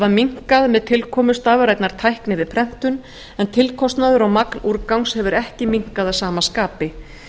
minnkað með tilkomu stafrænnar tækni við prentun en tilkostnaður og magn úrgangs hefur ekki minnkað að sama skapi